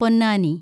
Ponnani